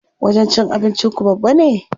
Wajen cin abinci ku babba ne?